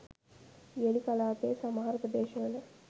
වියලි කලාපයේ සමහර ප්‍රදේශ වල